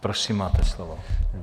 Prosím, máte slovo.